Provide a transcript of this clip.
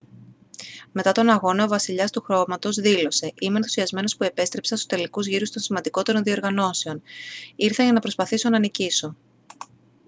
μετά τον αγώνα ο «βασιλιάς του χώματος» δήλωσε «είμαι ενθουσιασμένος που επέστρεψα στους τελικούς γύρους των σημαντικότερων διοργανώσεων. ήρθα για να προσπαθήσω να νικήσω»